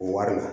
Wari ma